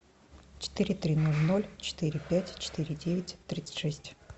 четыре три ноль ноль четыре пять четыре девять тридцать шесть